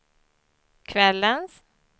kvällens